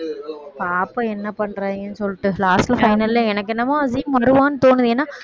பாப்போம் என்ன பண்றாங்கன்னு சொல்லிட்டு last ல final ல எனக்கு என்னமோ அசீம் வருவான்னு தோணுது ஏன்னா